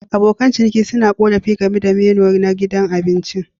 Abokan ciniki suna korafi game da menu na gidan abincin.